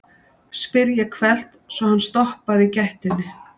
spyr ég hvellt, svo hann stoppar í gættinni.